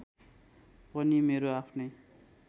पनि मेरो आफ्नै